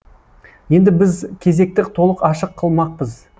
енді біз кезекті толық ашық қылмақпыз